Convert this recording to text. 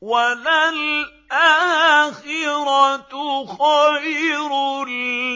وَلَلْآخِرَةُ خَيْرٌ